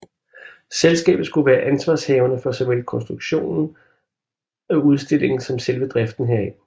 Selskabet skulle være ansvarshavende for såvel konstruktionen af udstillingen som selve driften heraf